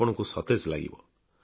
ଆପଣଙ୍କୁ ସତେଜ ଲାଗିବ